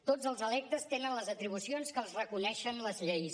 tots els electes tenen les atribucions que els reconeixen les lleis